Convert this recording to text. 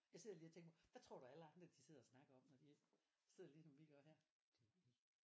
Jeg sidder lige og tænker hvad tror du alle andre sidder og snakker om når de sidder ligesom vi gør her